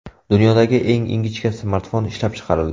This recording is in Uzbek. Dunyodagi eng ingichka smartfon ishlab chiqarildi.